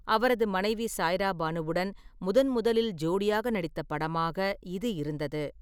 அவரது மனைவி சாய்ரா பானுவுடன் முதன் முதலில் ஜோடியாக நடித்த படமாக இது இருந்தது.